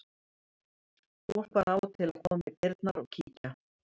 Fólk var af og til að koma í dyrnar og kíkja.